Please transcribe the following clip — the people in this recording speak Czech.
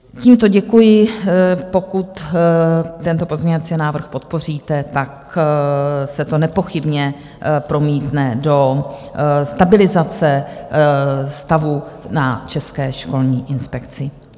Tímto děkuji, pokud tento pozměňovací návrh podpoříte, tak se to nepochybně promítne do stabilizace stavu na České školní inspekci.